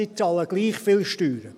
sie bezahlen gleich viel Steuern.